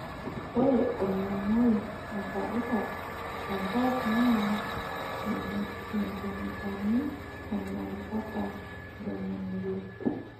Ore olmomoi oirabirab tenkop naa sentimitai onom mpaka ntomi ile.